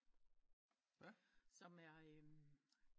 Som er